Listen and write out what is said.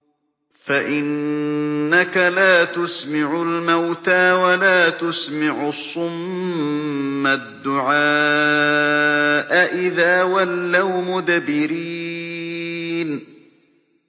فَإِنَّكَ لَا تُسْمِعُ الْمَوْتَىٰ وَلَا تُسْمِعُ الصُّمَّ الدُّعَاءَ إِذَا وَلَّوْا مُدْبِرِينَ